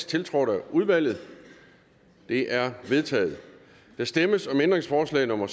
tiltrådt af udvalget de er vedtaget der stemmes om ændringsforslag nummer